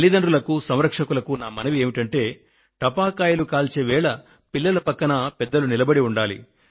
తల్లితండ్రులకు సంరక్షకులకు నా మనవి ఏమంటే టపాకాయలు కాల్చే వేళ పిల్లల పక్కన పెద్దలు నిలబడి ఉండండి